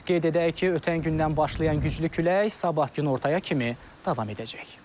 Qeyd edək ki, ötən gündən başlayan güclü külək sabah günortaya kimi davam edəcək.